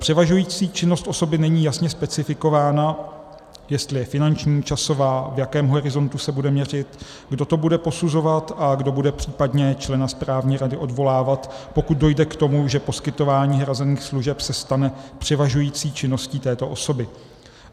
Převažující činnost osoby není jasně specifikována, jestli je finanční, časová, v jakém horizontu se bude měřit, kdo to bude posuzovat a kdo bude případně člena správní rady odvolávat, pokud dojde k tomu, že poskytování hrazených služeb se stane převažující činností této osoby.